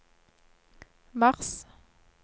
mars